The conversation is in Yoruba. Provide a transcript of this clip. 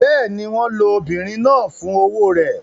Bẹ́ẹ̀ ni, wọ́n lo obìnrin náà fún owó rẹ̀.